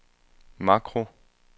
makro